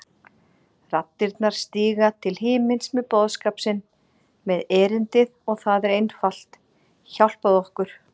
Raddirnar stíga til himins með boðskap sinn, með erindið og það er einfalt: hjálpaðu okkur!